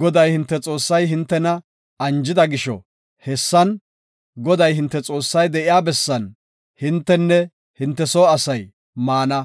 Goday, hinte Xoossay hintena anjida gisho, hessan, Goday, hinte Xoossay de7iya bessan, hintenne hinte soo asay maana;